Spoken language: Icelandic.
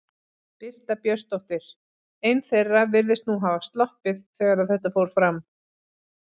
Birta Björnsdóttir: Ein þeirra virðist nú hafa sloppið þegar að þetta fór fram?